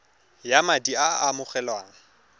ya madi a a amogelwang